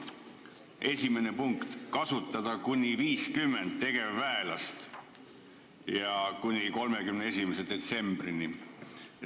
Esimene punkt: kasutada kuni 50 tegevväelast kuni 31. detsembrini.